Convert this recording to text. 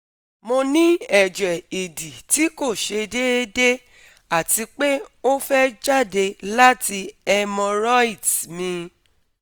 Mo ni eje idi ti ko se deede ati pe o fe jade lati hemorrhoids mi